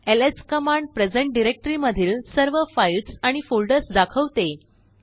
LS command present directory मधील सर्वफाइल्स आणिफोल्डर्स दाखवते